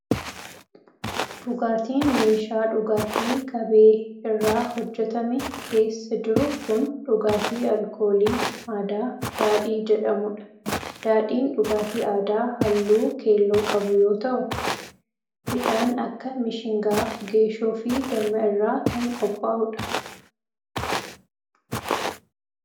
Dhugaatiin meeshaa dhugaatii qabee irraa hojjatame keessa jiru kun, dhugaatii alkoolii aadaa Daadhii jedhamuu dha. Daadhiin dhugaatii aadaa haalluu keelloo qabu yoo ta'u, midhaan akka mishingaa, geeshoo, fi damma irraa kan qophaa'u dha.